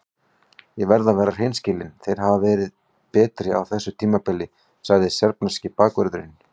Ég verð að vera hreinskilinn- þeir hafa verið betri á þessu tímabili, sagði serbneski bakvörðurinn.